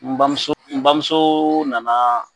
N bamuso, n bamuso nana